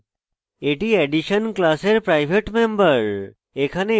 এটি addition class private member